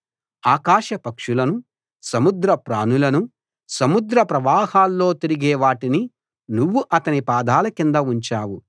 ఆకాశ పక్షులను సముద్ర ప్రాణులను సముద్ర ప్రవాహాల్లో తిరిగే వాటిని నువ్వు అతని పాదాల కింద ఉంచావు